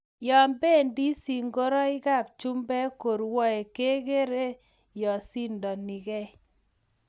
yo bendi segiroikab chumbek korwaee kegeerei yo sindonigei